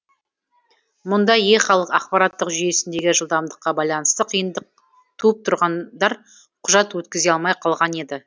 мұнда е халық ақпараттық жүйесіндегі жылдамдыққа байланысты қиындық туып тұрғындар құжат өткізе алмай қалған еді